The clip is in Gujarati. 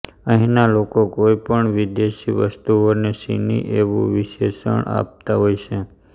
અહીંના લોકો કોઈ પણ વિદેશી વસ્તુઓને ચીની એવું વિશેષન આપતા હોય છે